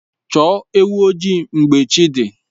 Chọọ ewu ojii mgbe chi dị